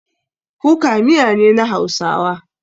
Kuka miya ne na hausawa.